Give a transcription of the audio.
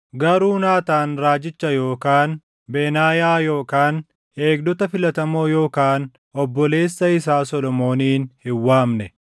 garuu Naataan raajicha yookaan Benaayaa yookaan eegdota filatamoo yookaan obboleessa isaa Solomoonin hin waamne.